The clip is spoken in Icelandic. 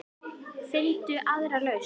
Finndu aðra lausn.